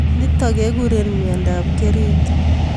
Nitok kekure myondob kerit